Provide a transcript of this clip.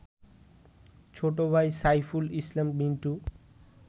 ছোট ভাই সাইফুল ইসলাম মিন্টু